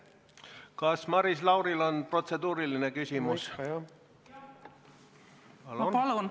Kas Maris Lauril on protseduuriline küsimus?